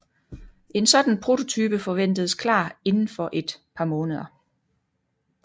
En sådan prototype forventedes klar inden for et par måneder